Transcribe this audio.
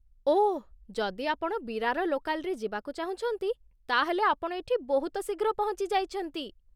ଓଃ, ଯଦି ଆପଣ ବିରାର ଲୋକାଲ୍‌ରେ ଯିବାକୁ ଚାହୁଁଛନ୍ତି ତା'ହେଲେ ଆପଣ ଏଠି ବହୁତ ଶୀଘ୍ର ପହଞ୍ଚିଯାଇଛନ୍ତି ।